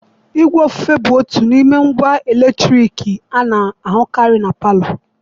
Igwe ofufe bụ otu n'ime ngwa eletriki a na-ahụkarị na palọ.